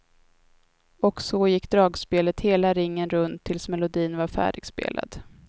Och så gick dragspelet hela ringen runt tills melodin var färdigspelad.